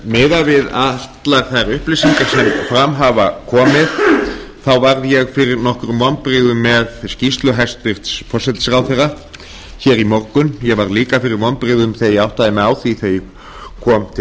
miðað við allar þær upplýsingar sem fram hafa komið varð ég fyrir nokkrum vonbrigðum með skýrslu hæstvirts forsætisráðherra í morgun ég varð líka fyrir vonbrigðum þegar ég áttaði mig á því þegar ég kom til